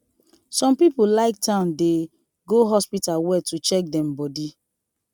some people like town dey go hospital well to check dem body